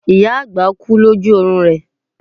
ìyá àgbà kú loju oorun rẹ